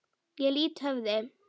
Ég lýt höfði.